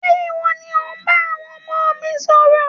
Ṣe iwọ ni o n bá àwọn ọmọ mi sọ̀rọ̀?